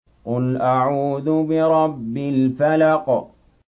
قُلْ أَعُوذُ بِرَبِّ الْفَلَقِ